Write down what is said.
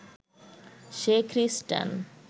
সে খ্রিস্টান